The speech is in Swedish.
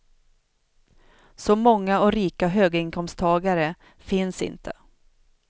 Så många och rika höginkomsttagare finns inte.